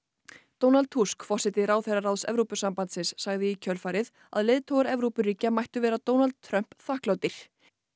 Donald Tusk forseti ráðherraráðs Evrópusambandsins sagði í kjölfarið að leiðtogar Evrópuríkja mættu vera Donald Trump þakklátir